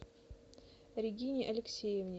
регине алексеевне